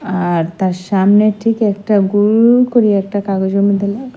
আর তার সামনে ঠিক একটা গোল করি একটা কাগজের মধ্যে লে--